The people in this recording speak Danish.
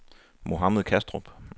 Mohammad Kastrup